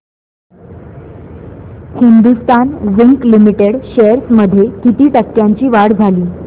Hindustan zinc limited shares मध्ये किती टक्क्यांची वाढ झाली